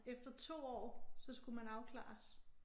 Efter 2 år så skulle man afklares